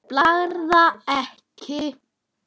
Blaðra eða Ek?